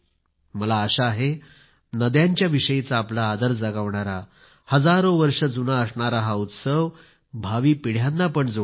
मला आशा आहे नद्यांच्या विषयीचा आपला आदर जागवणारा हजारो वर्षे जुना असणारा हा उत्सव भावी पिढ्यांना पण जोडेल